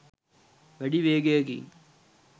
වැඩි වේගයකින්